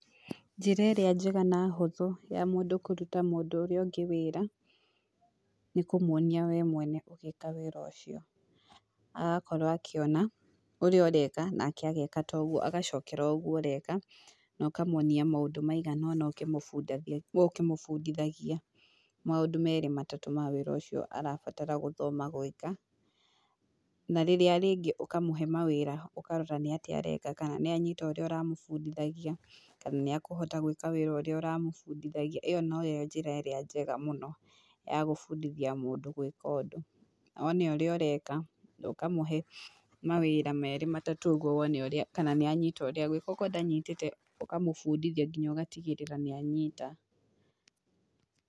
Njĩra ĩrĩa njega na hũthũ ya mũndũ kũruta mũndũ ũrĩa ũngĩ wĩra, nĩ kũmwonia wee mwene ũgĩka wĩra ũcio, agakorwo akĩona ũrĩa ũreka nake ageka ta ũguo agacokera ũguo ũreka, na ũkamwonia maũndũ maigana ũna ũkĩmũbundithagia maũndũ merĩ matatũ ma wĩra ũcio arabatara gũthoma gwĩka, na rĩrĩa rĩngĩ ũkamũhe mawĩra ũkarora nĩ atĩa areka kana nĩ anyita ũrĩa ũramũbundithagia, kana nĩ akũhota gwĩka wĩra ũrĩa ũramũbundithagia, ĩyo no yo njĩra ĩrĩa njega mũno ya gũbundithia mũndũ gwĩka ũndũ, one ũrĩa ũreka, ũkamũhe mawĩra merĩ matatũ ũguo, wone ũrĩa kana nĩ anyita ũrĩa agwĩka, akorwo ndanyitĩte ũkamũbundithia nginya ũgatigĩrĩra nĩ anyita.